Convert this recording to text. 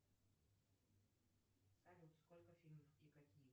салют сколько фильмов и какие